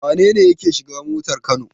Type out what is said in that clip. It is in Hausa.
Wane ne yake shiga motar Kano?